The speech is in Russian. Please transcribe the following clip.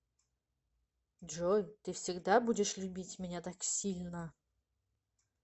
джой ты всегда будешь любить меня так сильно